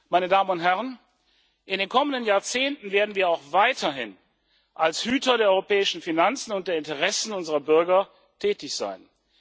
Meine Damen und Herren, in den kommenden Jahrzehnten werden wir auch weiterhin als Hüter der europäischen Finanzen und der Interessen unserer Bürger tätig sein.